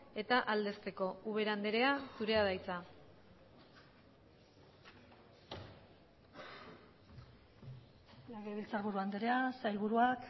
eta aldezteko ubera andrea zurea da hitza legebiltzarburu andrea sailburuak